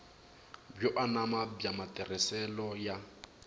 byo anama bya matirhiselo ya